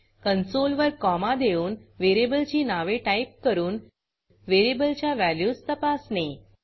console वर comma देऊन व्हेरिएबलची नावे टाईप करून व्हेरिएबलच्या व्हॅल्यूज तपासणे